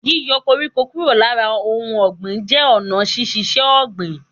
Yíyo koríko kúrò lára ohun ògbìn jé ònà sísisé ògbìn